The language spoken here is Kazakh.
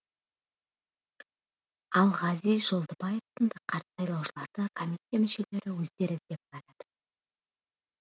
ал ғазиз жолдыбаев сынды қарт сайлаушыларды комиссия мүшелері өздері іздеп барады